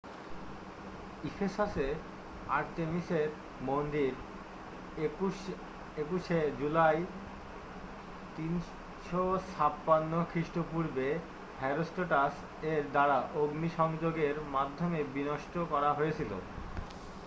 ইফেসাসে আর্তেমিসের মন্দির 21 শে জুলাই 356 খৃষ্টপূর্বে হেরোস্ট্রাটাস এর দ্বারা অগ্নিসংযোগের মাধ্যমে বিনষ্ট করা হয়েছিল